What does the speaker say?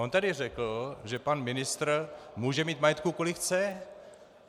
On tady řekl, že pan ministr může mít majetku, kolik chce.